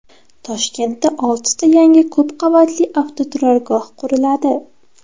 Toshkentda oltita yangi ko‘p qavatli avtoturargoh quriladi.